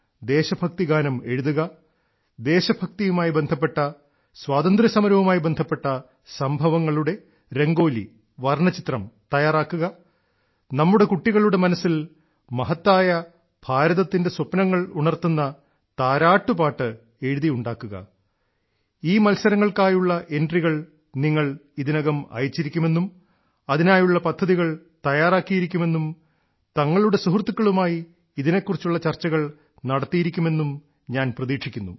ദേശഭക്തിഗാനം എഴുതുക ദേശഭക്തിയുമായി ബന്ധപ്പെട്ട സ്വാതന്ത്ര്യസമരവുമായി ബന്ധപ്പെട്ട സംഭവങ്ങളുടെ രംഗോലിവർണ്ണചിത്രംതയ്യാറാക്കുക നമ്മുടെ കുട്ടികളുടെ മനസ്സിൽ മഹത്തായ ഭാരതത്തിന്റെ സ്വപ്നങ്ങളുണർത്തുന്ന താരാട്ട് പാട്ട് എഴുതിയുണ്ടാക്കുക ഈ മത്സരങ്ങൾക്കായുള്ള എൻട്രികൾ നിങ്ങൾ ഇതിനകം അയച്ചിരിക്കുമെന്നും അതിനായുള്ള പദ്ധതികൾ തയ്യാറാക്കിയിരിക്കുമെന്നും തങ്ങളുടെ സുഹൃത്തുക്കളുമായി ഇതിനെക്കുറിച്ചുള്ള ചർച്ചകൾ നടത്തിയിരിക്കുമെന്നും ഞാൻ പ്രതീക്ഷിക്കുന്നു